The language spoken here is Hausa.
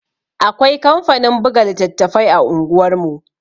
Akwai kamfanin buga littattafai a unguwar mu